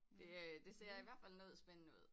Det øh det ser i hvert fald noget spændende ud